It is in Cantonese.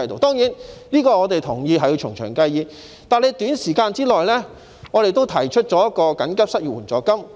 當然，我們同意這要從長計議，但就短期而言，我們也提出了設立緊急失業援助金。